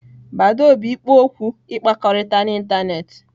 Badoo bụ ikpo okwu ịkpakọrịta n'ịntanetị.